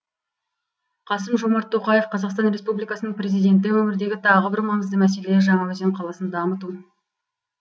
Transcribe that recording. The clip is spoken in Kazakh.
қасым жомарт тоқаев қазақстан республикасының президенті өңірдегі тағы бір маңызды мәселе жаңаөзен қаласын дамыту